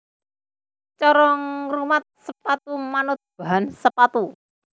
Cara ngrumat sepatu manut bahan sepatu